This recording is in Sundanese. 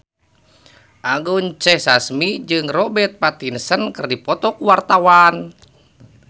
Anggun C. Sasmi jeung Robert Pattinson keur dipoto ku wartawan